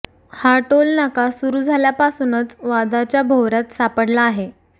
हा टोल नाका सुरू झाल्यापासूनच वादाच्या भोवऱ्यात सापडला आहे